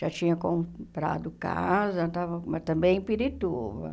Já tinha comprado casa, estava mas também em Pirituba.